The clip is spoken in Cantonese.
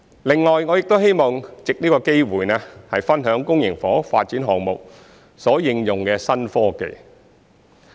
另外，我亦希望藉此機會，分享公營房屋發展項目所應用的新科技。